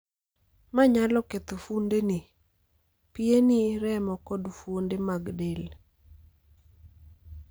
Ma nyalo ketho fuondeni, pieni, remo, kod fuonde mag del